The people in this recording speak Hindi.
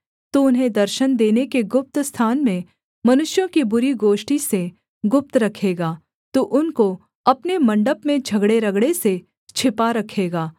तू उन्हें दर्शन देने के गुप्त स्थान में मनुष्यों की बुरी गोष्ठी से गुप्त रखेगा तू उनको अपने मण्डप में झगड़ेरगड़े से छिपा रखेगा